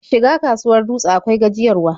Shiga kasuwar Dutse akwai gajiyarwa.